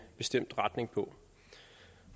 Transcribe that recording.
bestemt retning